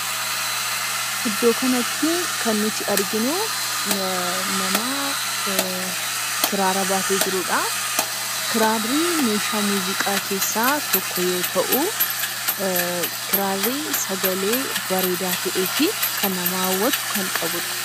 Iddoo kanatti kan nuti arginu nama kiraara baatee jirudha. Kiraarri meeshaa muuziqaa keessaa tokko yoo ta'u, kiraarri sagalee bareedaa ta'ee fi kan nama hawwatu kan qabudha.